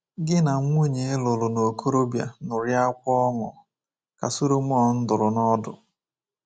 Gi na nwunye ị lụrụ n’okorobia ṅụrịakwa ọṅụ,” ka Solomọn dụrụ n’ọdụ.